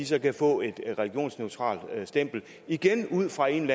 så kan få et religionsneutralt stempel igen ud fra en